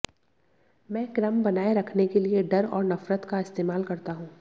मैं क्रम बनाए रखने के लिए डर और नफरत का इस्तेमाल करता हूं